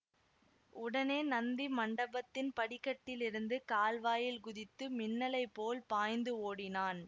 உடனே நந்தி மண்டபத்தின் படிக்கட்டிலிருந்து கால்வாயில் குதித்து மின்னலைப் போல் பாய்ந்து ஓடினான்